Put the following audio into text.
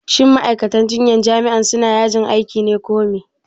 shin ma'aikatan jinyan jami'an suna yajin aiki ne ko me?